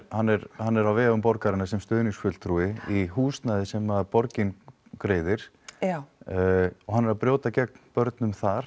hann er hann er á vegum borgarinnar sem stuðningsfulltrúi í húsnæði sem að borgin greiðir já og hann er að brjóta gegn börnum þar